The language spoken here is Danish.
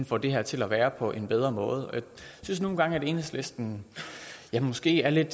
får det her til at være på en bedre måde jeg synes nogle gange at enhedslisten måske er lidt